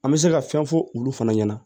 An bɛ se ka fɛn fɔ olu fana ɲɛna